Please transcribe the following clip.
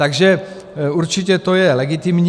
Takže určitě to je legitimní.